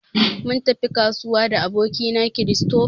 Mun tafi kasuwa da aboki na Christopher.